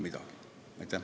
Aitäh!